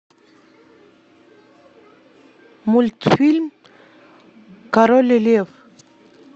мультфильм король лев